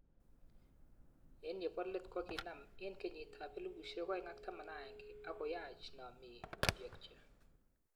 Eng yobo let kokikinam eng kenyitab 2011 ak koyach namik koyachki